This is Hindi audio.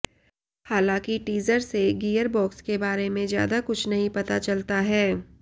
हालांकि टीजर से गियरबॉक्स के बारे में ज्यादा कुछ नहीं पता चलता है